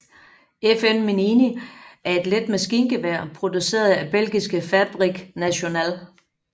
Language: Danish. FN Minimi er et let maskingevær produceret af Belgiske Fabrique Nationale